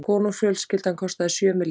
Konungsfjölskyldan kostar sjö milljarða